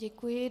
Děkuji.